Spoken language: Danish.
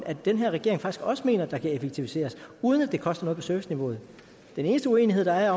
at den her regering faktisk også mener der kan effektiviseres uden at det koster noget på serviceniveauet den eneste uenighed der er